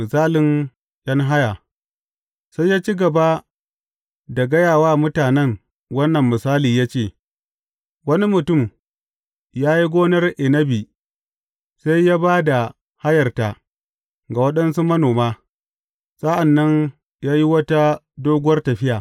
Misalin ’yan haya Sai ya ci gaba da gaya wa mutanen wannan misali ya ce, Wani mutum ya yi gonar inabi, sai ya ba da hayarta ga waɗansu manoma, sa’an nan ya yi wata doguwar tafiya.